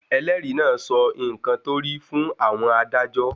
Ẹlẹ́rìí náà sọ nǹkan tó rí fún àwọn adájọ́.